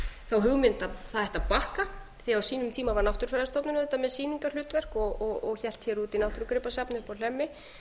þá hugmynd að það ætti að bakka því á sínum tíma var náttúrufræðistofnun auðvitað með sýningarhlutverk og hélt hér úti náttúrugripasafni uppi á hlemmi